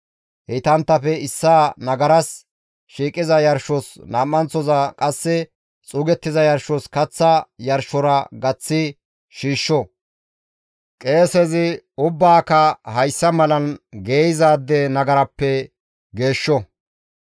Heytanttafe issaa nagaras shiiqiza yarshos nam7anththoza qasse xuugettiza yarshos kaththa yarshora gaththi shiishsho; qeesezi ubbaaka hayssa malan geeyzaade nagarappe geeshsho.